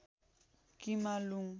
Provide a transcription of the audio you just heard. किमालुङ